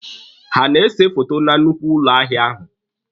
Ha a na-ese foto na nnukwu ụlọ ahịa ahụ?